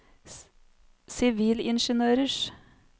sivilingeniørers